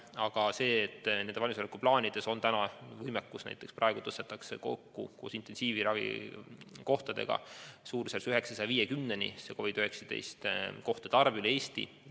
Aga nendes valmisolekuplaanides on täna võimekus olemas, näiteks praegu suurendatakse koos intensiivravikohtadega COVID-19 kohtade arvu üle Eesti umbes 950-ni.